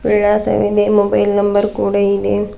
ವಿಳಾಸವಿದೆ mobile number ಕೂಡ ಇದೆ.